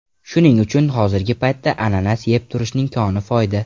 Shuning uchun hozirgi paytda ananas yeb turishning koni foyda.